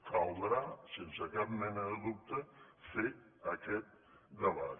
caldrà sense cap mena de dubte fer aquest debat